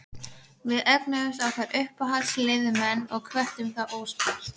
Við eignuðumst okkar uppáhaldsliðsmenn og hvöttum þá óspart.